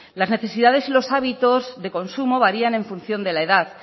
las necesidades y los hábitos de consumo varía en función de la edad